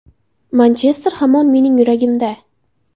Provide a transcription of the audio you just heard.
Manchester hamon mening yuragimda.